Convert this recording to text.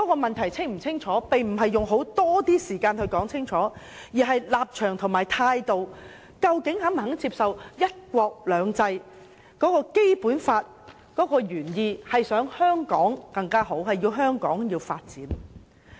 問題清楚不過，其實並非要花多些時間討論，而是立場和態度，大家究竟是否肯接受"一國兩制"及《基本法》的原意為香港發展得更好而設。